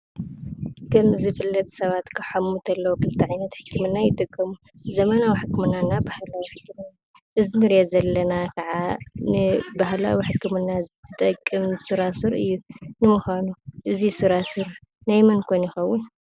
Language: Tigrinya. ከም ዝፍለጥ ሰባት ክሓሙ እንተለው ክልተ ዓይነት ሕክምና ይጥቀሙ። ዘመናዊ ሕክምናና ባህላዊ ሕክምና። እዙይ እንርእዮ ዘለና ከዓ ንባህላዊ ሕክምና ዝጠቅም ሱራሱር እዩ። ንምዃኑ እዙይ ሱራሱር ናይ መን ከ ይኸውን?